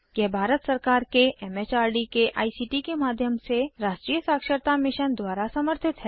यह भारत सरकार के एम एच आर डी के आई सी टी के माध्यम से राष्ट्रीय साक्षरता मिशन द्वारा समर्थित है